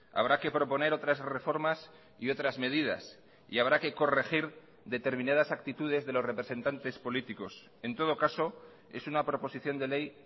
habrá que proponer otras reformas y otras medidas y habrá que corregir determinadas actitudes de los representantes políticos en todo caso es una proposición de ley